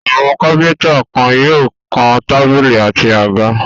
Àwọn kápẹ́ńtà kan yóò kan tábìlì àti àga.